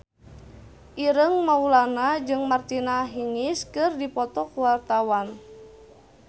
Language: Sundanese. Ireng Maulana jeung Martina Hingis keur dipoto ku wartawan